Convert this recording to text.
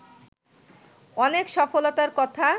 অনেক সফলতার কথা